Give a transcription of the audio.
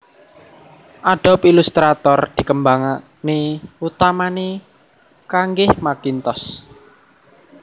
Adobe Illustrator dikembangné utamané kangge Macintosh